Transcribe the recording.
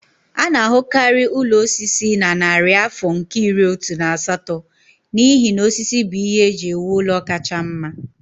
A na-ahụkarị ụlọ osisi na narị afọ nke iri otu na asatọ n'ihi na osisi bụ ihe eji ewu ụlọ kacha mma